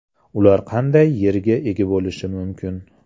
Ular qanday yerga ega bo‘lishi mumkin?